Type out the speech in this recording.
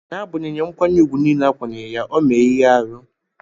N'agbanyeghi nkwanye ùgwù nile a kwanyere ya, o mee ihe arụ.